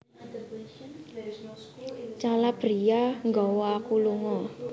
Calabria nggawa aku lunga